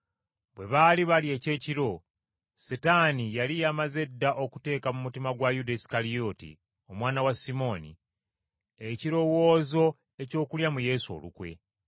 Bwe baali balya ekyekiro, Setaani yali yamaze dda okuteeka mu mutima gwa Yuda Isukalyoti, omwana wa Simooni, ekirowoozo eky’okulya mu Yesu olukwe.